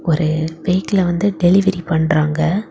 ஒரு வீட்ல வந்து டெலிவரி பண்றாங்க.